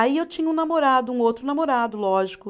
Aí eu tinha um namorado, um outro namorado, lógico.